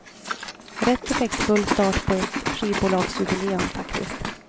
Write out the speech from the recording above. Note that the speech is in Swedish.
Rätt effektfull start på ett skivbolagsjubileum, faktiskt.